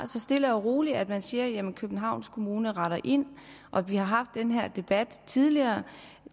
så stille og roligt og at man siger jamen københavns kommune retter ind og vi har haft den her debat tidligere